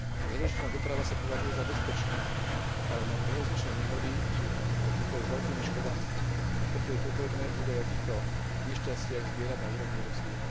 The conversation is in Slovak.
Železničná doprava sa považuje za bezpečnú, ale železničné nehody sú obvykle s veľkými škodami. Preto je potrebné údaje o týchto nešťastiach zbierať na úrovni Európskej únie.